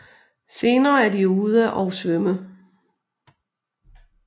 Senere er de ude og svømme